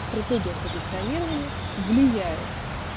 стратегия позиционирования влияет